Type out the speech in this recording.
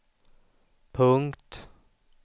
punkt